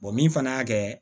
min fana y'a kɛ